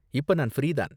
இப்ப நான் ஃப்ரீ தான்.